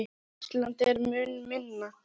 Ísland er mun minna.